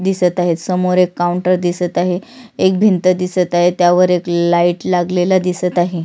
दिसत आहे समोर एक काऊंटर दिसत आहे एक भिंत दिसत आहे त्यावर एक लाइट लागलेला दिसत आहे.